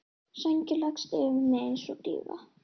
Sængin leggst yfir mig einsog dýfa.